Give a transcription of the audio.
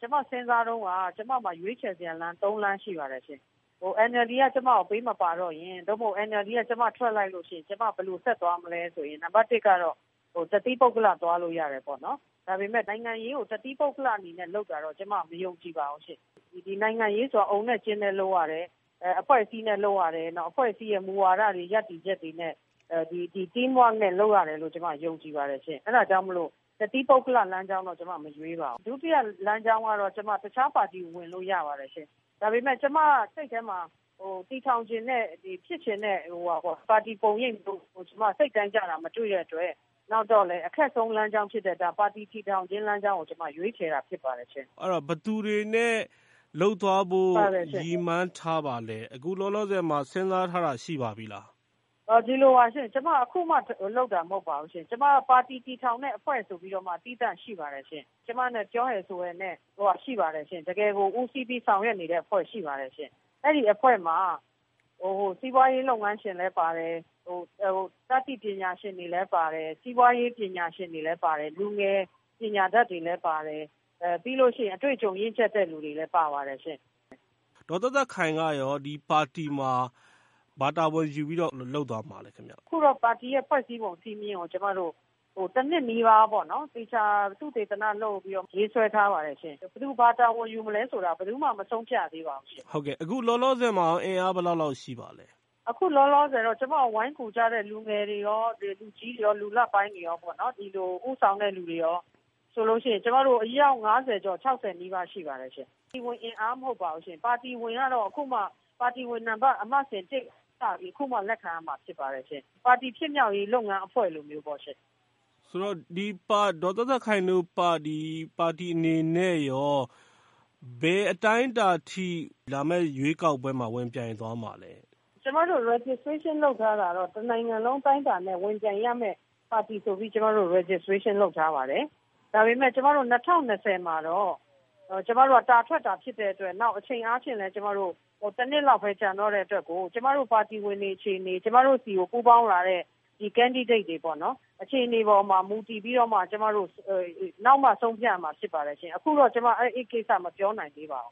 ကျမစဉ်းစားတုန်းက ကျမမှာ ရွေးချယ်စရာ သုံးလမ်းရှိပါတယ်။ NLD က ကျမကို ပေးမပါတော့ရင် သို့မဟုတ် NLD က ကျမထွက်လိုက်လို့ရှိရင် ဘယ်လိုဆက်သွားမလဲဆိုရင် နံပါတ်တစ်ကတော့ တသီးပုဂ္ဂလ သွားလို့ရတယ်ပေါ့နော်။ ဒါပေမယ့် နိုင်ငံရေးကို တသီးပုဂ္ဂလအနေနဲ့ လုပ်တာတော့ ကျမ မယုံကြည်ပါဘူးရှင့်။ ဒီနိုင်ငံရေးဆိုတာ အုံနဲ့ကျင်းနဲ့လုပ်ရတယ်။ အဖွဲ့အစည်းနဲ့ လုပ်ရတယ်။ အဖွဲ့အစည်းရဲ့ မူဝါဒတွေ၊ ရပ်တည်ချက်တွေနဲ့ Team work နဲ့လုပ်ရတယ်လို့ ကျမ ယုံကြည်ပါတယ်ရှင့်။ အဲဒါကြောင့်မို့ တသီးပုဂ္ဂလ လမ်းကြောင်းတော့ ကျမ မရွေးပါဘူး။ “ဒုတိယလမ်းကြောင်းကတော့ ကျမ တခြားပါတီ ဝင်လို့ရပါတယ်။ ဒါပေမယ့် ကျမစိတ်ထဲမှာ တည်ထောင်ချင်တဲ့ ဖြစ်ချင်တဲ့ ပါတီပုံရိပ်မျိုး ကျမ စိတ်တိုင်းကျတာ မတွေ့တဲ့အတွက် နောက်တော့လည်း အခက်ဆုံးလမ်းကြောင်းဖြစ်တဲ့ ပါတီတည်ထောင်ခြင်း လမ်းကြောင်းကို ကျမ ရွေးချယ်တာ ဖြစ်ပါတယ်ရှင့်။” ဘယ်သူတွေနဲ့ လုပ်သွားဖို့ ရည်မှန်းထားပါလဲ။ အခုလောလောဆယ်မှာ စဉ်းစားထားတာ ရှိပါပြီလား။ ဒီလိုပါ၊ ကျမ အခုမှလုပ်တာ မဟုတ်ပါဘူး။ ကျမ ပါတီတည်ထောင်တဲ့အဖွဲ့ ဆိုပြီးတော့မှ သီးသန့်ရှိပါတယ်။ ကျမနဲ့ ပြောဟယ်ဆိုဟယ်နဲ့ ရှိပါတယ်ရှင့်။ တကယ်ကို ဦးစီးပြီး ဆောင်ရွက်နေတဲ့အဖွဲ့ ရှိပါတယ်ရှင့်။ အဲဒီအဖွဲ့မှာ စီးပွားရေးလုပ်ငန်းရှင်လည်း ပါတယ်၊ တတ်သိပညာရှင်တွေလည်း ပါတယ်၊ စီးပွားရေး ပညာရှင်တွေလည်း ပါတယ်၊ လူငယ်ပညာတတ်တွေလည်း ပါတယ်၊ ပြီးရင် အတွေ့အကြုံရင့်ကျက်တဲ့ လူတွေလည်း ပါပါတယ်။ ဒေါ်သက်သက်ခိုင်ကရော ဒီပါတီမှာ ဘာတာဝန်ယူပြီးတော့ လုပ်သွားမှာလဲ ခင်ဗျ။ အခု ပါတီရဲ့ ဖွဲ့စည်းပုံစည်းမျဉ်းကို ကျမတို့ တနှစ်နီးပါး သေချာ သုတေသနလုပ်ပြီး ရေးဆွဲထားပါတယ်။ ဘယ်သူ ဘာတာဝန်ယူမလဲဆိုတာ ဘယ်သူမှ မဆုံးဖြတ်ရသေးပါဘူး။ အခုလောလောဆယ်မှာရော အင်အား ဘယ်လောက်လောက်ရှိပါသလဲ။ အခုလောလောဆယ်တော့ ကျမကို ဝိုင်းကူကြတဲ့ လူငယ်တွေရော၊ လူကြီးတွေရော၊ လူလတ်ပိုင်းတွေရောပေါ့၊ ဦးဆောင်တဲ့လူတွေရော ဆိုရင် အယောက် ငါးဆယ်ကျော် ခြောက်ဆယ်နီးပါး ရှိပါတယ်။ ပါတီဝင်အင်အား မဟုတ်ပါဘူး။ ပါတီဝင်ကတော့ အခုမှ ပါတီဝင်နံပါတ် အမှတ်စဉ်တစ်ကစပြီး အခုမှ လက်ခံရမှာ ဖြစ်ပါတယ်ရှင့်။ ပါတီဖြစ်မြောက်ရေး လုပ်ငန်းအဖွဲ့လိုမျိုးပေါ့ရှင့်။ ဆိုတော့ ဒေါ်သက်သက်ခိုင်တို့ ပါတီအနေနဲ့ရော ဘယ်အတိုင်းအတာထိ လာမယ့်ရွေးကောက်ပွဲမှာ ဝင်ပြိုင်သွားမှာလဲ။ ကျမတို့ Registration လုပ်ထားတာတော့ တနိုင်ငံလုံး အတိုင်းအတာနဲ့ ဝင်ပြိုင်ရမယ့် ပါတီဆိုပြီး ကျမတို့ Registration လုပ်ထားပါတယ်။ ဒါပေမယ့် ကျမတို့ ၂၀၂၀ မှာတော့ ကျမတို့ တာထွက်တာဖြစ်တဲ့အတွက်၊ နောက် အချိန်အားဖြင့်လည်း ကျမတို့ တနှစ်လောက်ပဲ ကျန်တော့တဲ့အတွက်ကို ကျမတို့ ပါတီဝင်တွေ အခြေအနေ၊ ကျမတို့ဆီကို ပူးပေါင်းလာတဲ့ Candidates တွေ အခြေအနေပေါ်မှာ မူတည်ပြီးတော့မှ နောက်မှ ဆုံးဖြတ်ရမှာဖြစ်ပါတယ်။ အခုတော့ အဲဒီကိစ္စ မပြောနိုင်သေးပါဘူ